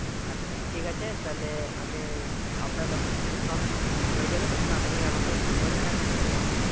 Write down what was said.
আচ্ছা ঠিক আঝে তাহলে আমি, আপনার যখন সব হয়ে যাবে। তখন আপনি আমাকে ফোন করবেন আমি চলে যাব